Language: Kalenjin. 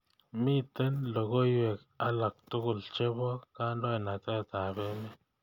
Miten logoywek alaktugul chebo kandoindetab meet